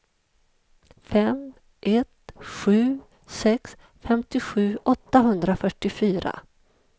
fem ett sju sex femtiosju åttahundrafyrtiofyra